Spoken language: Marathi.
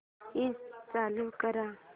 एसी चालू कर